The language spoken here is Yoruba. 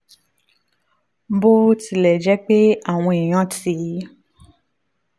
bó tilẹ̀ jẹ́ pé àwọn èèyàn ti